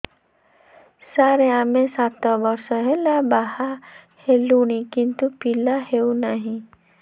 ସାର ଆମେ ସାତ ବର୍ଷ ହେଲା ବାହା ହେଲୁଣି କିନ୍ତୁ ପିଲା ହେଉନାହିଁ